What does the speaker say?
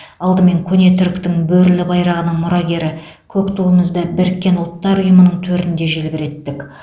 алдымен көне түріктің бөрілі байрағының мұрагері көк туымызды біріккен ұлттар ұйымының төрінде желбіреттік